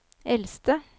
eldste